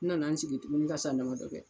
N nana n sigi tun ka san damadɔ kɛ